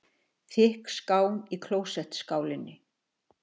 Þykk skán í klósettskálinni.